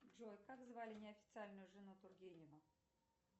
джой как звали неофициальную жену тургенева